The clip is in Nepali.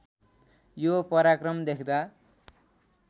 यो पराक्रम देख्दा